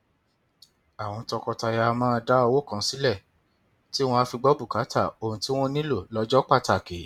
àwọn tọkọtaya máa ń dá owó kan sílẹ tí wọn á fi gbọ bùkátà ohun tí wọn nílò lọjọ pàtàkì